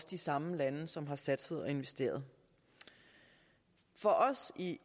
de samme lande som her har satset og investeret for os i